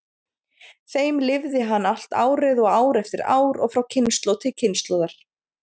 þeim lifði hann allt árið og ár eftir ár og frá kynslóð til kynslóðar.